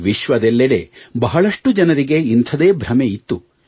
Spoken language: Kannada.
ವಿಶ್ವದೆಲ್ಲೆಡೆ ಬಹಳಷ್ಟು ಜನರಿಗೆ ಇಂಥದೇ ಭ್ರಮೆ ಇತ್ತು